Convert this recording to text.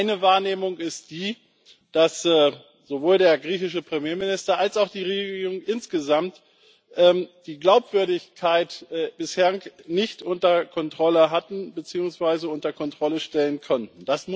Meine Wahrnehmung ist die, dass sowohl der griechische Premierminister als auch die griechische Regierung insgesamt die Glaubwürdigkeit bislang nicht unter Kontrolle hatten beziehungsweise unter Kontrolle stellen konnten.